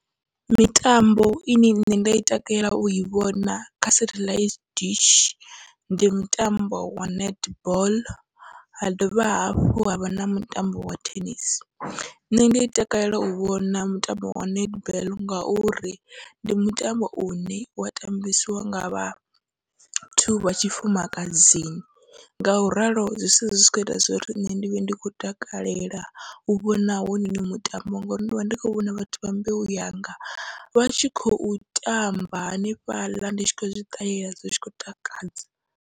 Mitambo ine nṋe nda i takalela ui vhona kha setheḽaithi dishi, ndi mutambo wa netball ha dovha hafhu havha na mutambo wa thenisi, nṋe ndi takalela u vhona mutambo wa netball ngauri ndi mutambo une wa tambisiwa ngavha vhathu vha tshifumakadzini. Ngauralo zwi sala zwi kho ita zwori nṋe ndi vhe ndi kho takalela u vhona hounoni mutambo ngori ndivha ndi kho vhona vhathu vha mbeu yanga vha tshi khou tamba hanefhaḽa ndi tshi kho zwi ṱalela zwi tshi khou takadza.